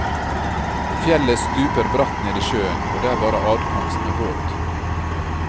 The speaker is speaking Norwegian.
Fjellet stuper bratt ned i sjøen og det er bare adkomst med båt.